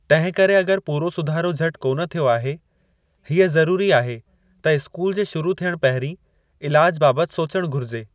तिंहिं करे अगर पूरो सुधारो झटि कोन थियो आहे, हीअ ज़रुरी आहे त इस्कूल जे शुरु थियणु पहिरीं इलाजु बाबति सोचणु घुरिजे।